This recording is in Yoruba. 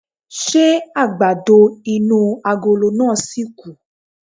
Ṣé àgbàdo inú agolo náà ṣìkù?